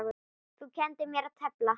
Þú kenndir mér að tefla.